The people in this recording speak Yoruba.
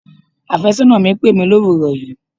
Afésónà mi pèmí l'òwúrò yìí.